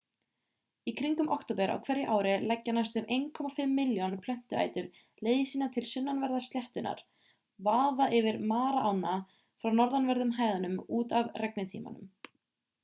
í kringum október á hverju ári leggja næstum 1,5 milljón plöntuætur leið sína til sunnanverðrar sléttunnar vaða yfir mara-ána frá norðanverðum hæðunum út af regntímanum